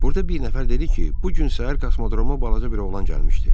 Burda bir nəfər dedi ki, bu gün səhər kosmodroma balaca bir oğlan gəlmişdi.